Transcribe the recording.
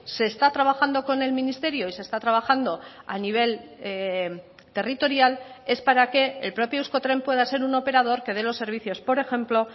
se está trabajando con el ministerio y se está trabajando a nivel territorial es para que el propio euskotren pueda ser un operador que dé los servicios por ejemplo